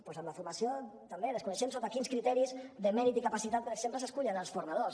doncs en la formació també desconeixem sota quins criteris de mèrit i capacitat per exemple s’escullen els formadors